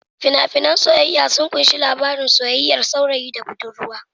Fina-finan na soyayya sun kunshi labarin soyayyar saurayi da budurwa.